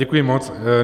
Děkuji moc.